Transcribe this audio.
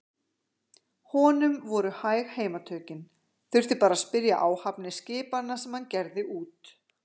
Honum voru hæg heimatökin, þurfti bara að spyrja áhafnir skipanna sem hann gerði út.